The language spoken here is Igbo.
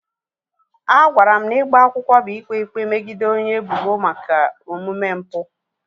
A gwara m na ịgba akwụkwọ bụ ikpe ikpe megide onye ebubo maka omume mpụ.